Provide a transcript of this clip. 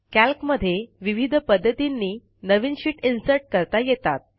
कॅल्कमध्ये विविध पध्दतींनी नवीन शीट इन्सर्ट करता येतात